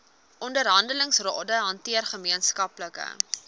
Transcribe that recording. onderhandelingsrade hanteer gemeenskaplike